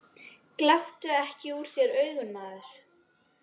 Gláptu ekki úr þér augun, maður.